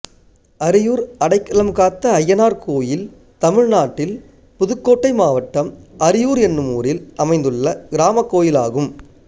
ஆரியூர் அடைக்கலம் காத்த அய்யனார் கோயில் தமிழ்நாட்டில் புதுக்கோட்டை மாவட்டம் ஆரியூர் என்னும் ஊரில் அமைந்துள்ள கிராமக் கோயிலாகும்